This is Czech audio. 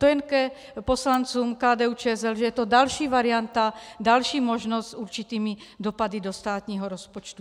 To jen k poslancům KDU-ČSL, že je to další varianta, další možnost s určitými dopady do státního rozpočtu.